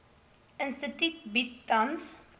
instituut bied tans